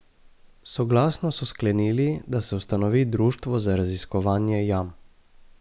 Soglasno so sklenili, da se ustanovi društvo za raziskovanje jam.